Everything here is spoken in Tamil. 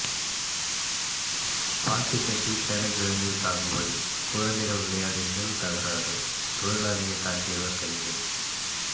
பாத்தி கட்டி சேனைக்கிழங்கு சாகுபடி குழந்தைகள் விளையாடியதில் தகராறு தொழிலாளியை தாக்கியவர் கைது